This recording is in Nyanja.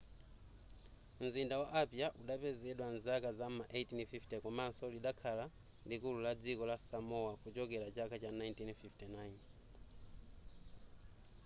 mzinda wa apia udapezedwa mzaka zam'ma 1850 komanso lidakhala likulu la dziko samoa kuchokera chaka cha 1959